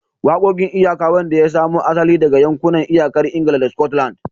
Waƙoƙin iyaka, wanda ya samo asali daga yankunan iyakar Ingila da Scotland.